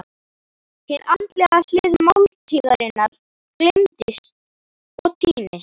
Hin andlega hlið máltíðarinnar gleymist og týnist.